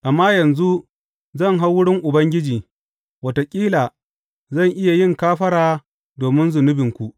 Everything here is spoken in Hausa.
Amma yanzu zan hau wurin Ubangiji; wataƙila zan iya yin kafara domin zunubinku.